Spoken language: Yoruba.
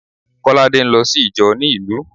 Kolade ń lọ sí ìjọ ni ìlú